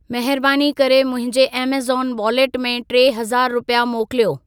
महिरबानी करे मुंहिंजे ऐमेज़ॉन वॉलेट में टे हज़ार रुपिया मोकिलियो।